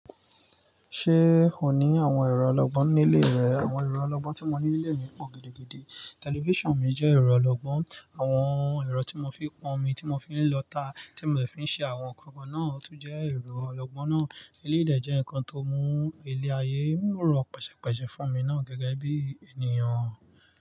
Ṣé ò ní àwọn èrò ọlọ́gbọ́n nílé rẹ? Àwọn èrò ọlọ́gbọ́n tí mo ní nílé mi pọ̀ gidi gidi. Tẹlifíṣàn mi jẹ́ ẹ̀rọ ọlọ́gbọ́n, àwọn ẹ̀rọ tí mo fi ń pọn omi, tí mo fi ń lọta, tí mò de fi ń ṣe àwọn nǹkan kan náà tún jẹ́ èrò ọlọ́gbọ́n náà. Eléyiì dè jẹ́ nǹkan tó mú ilẹ̀ ayé n ro pẹ̀sẹ̀pẹ̀sẹ̀ fún mi náà gẹ́gẹ́ bí ènìyàn.